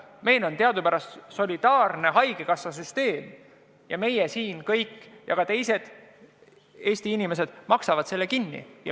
Meil on teadupärast solidaarne haigekassasüsteem ja meie kõik siin ja ka teised Eesti inimesed maksavad selle kinni.